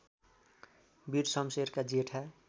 वीर शमशेरका जेठा